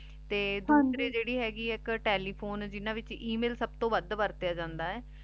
ਤੇ ਦੋਸਰੀ ਜੇਰੀ ਹੇਗੀ ਏਇਕ ਤੇਲੇਫੋਨੇ ਜਿਨਾਂ ਵਿਚ ਏਮਿਲ ਸਬ ਤੋਂ ਵਧ ਵਾਰ੍ਤ੍ਯਾ ਜਾਂਦਾ ਆਯ